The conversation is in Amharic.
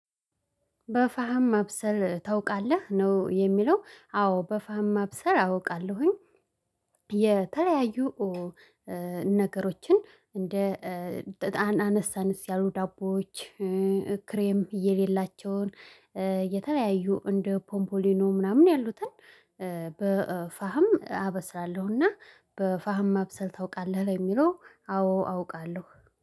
በፋም ማብሰል ታውቃለህ? ነው የሚለው አዎ በፋም ማብሰል አውቃለሁኝ። የተለያዩ ነገሮችን እንደ አነስ አነስ ያሉ ዳቦዎች ክሬም የሌላቸውን የተለያዩ እንደ ፖምፖሊኖ ምናምን ያሉትን በፋህም አበስራለሁና በፋህም ማብሰል ታውቃለህ የሚለው አዎ አውቃለሁ።